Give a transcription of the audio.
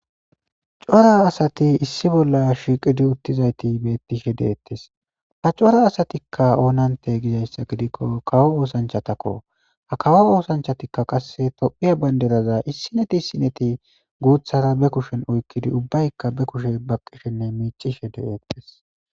Cora asati issi bolla shiiqidi utizayti beetishe de'etes ha cora asatika oonante gizaysa gidiko kawo oosanchatako kawo oosanchatika qase tophiya bandira issinneto issunneti guuthara be kushen oykidi ubbayka be kishe baqishe de'eyes.